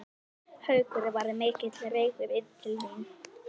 Haukur: Var mikill reykur inn til þín?